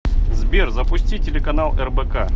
сбер запусти телеканал рбк